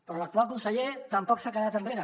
però l’actual conseller tampoc s’ha quedat enrere